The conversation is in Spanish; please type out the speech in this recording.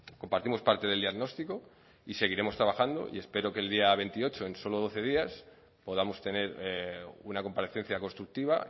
compartimos parte del diagnóstico y seguiremos trabajando y espero que el día veintiocho en solo doce días podamos tener una comparecencia constructiva